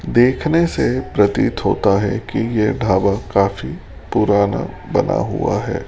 देखने से प्रतीत होता है कि यह ढाबा काफी पुराना बना हुआ है।